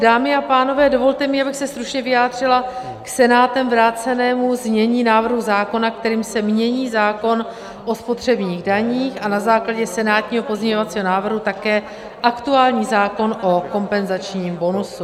Dámy a pánové, dovolte mi, abych se stručně vyjádřila k Senátem vrácenému znění návrhu zákona, kterým se mění zákon o spotřebních daních a na základě senátního pozměňovacího návrhu také aktuální zákon o kompenzačním bonusu.